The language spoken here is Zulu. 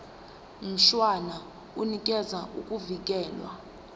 mshwana unikeza ukuvikelwa